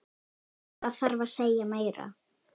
Hvað þarf að segja meira?